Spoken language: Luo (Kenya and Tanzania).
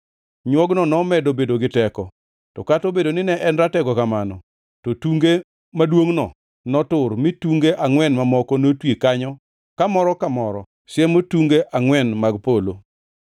Nywogno nomedo bedo gi teko, to kata obedo ni ne en ratego kamano, to tunge maduongʼno notur mi tunge angʼwen mamoko notwi kanyo kamoro ka moro siemo tunge angʼwen mag polo.